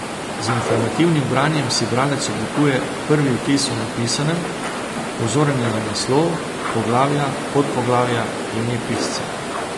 Z informativnim branjem si bralec oblikuje prvi vtis o napisanem, pozoren je na naslov, poglavja, podpoglavja, ime pisca.